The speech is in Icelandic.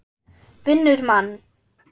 Vinnur mann.